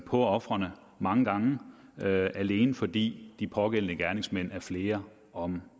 på ofrene mange gange alene fordi de pågældende gerningsmænd er flere om